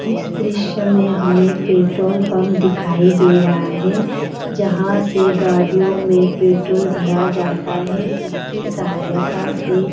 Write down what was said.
इस दृश्य में हमें पेट्रोल पंप दिखाई दे रहा है जहाँ से गाड़ियों में पेट्रोल भरा जाता है जिसकी सहायता से --